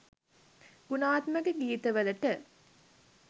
ගුණාත්මක ගීතවලට